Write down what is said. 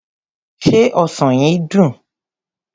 Se ọsàn yìí dùn?